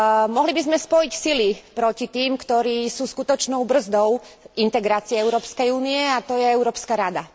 Mohli by sme spojiť sily proti tým, ktorí sú skutočnou brzdou v integrácii Európskej únie, a to je Európska rada.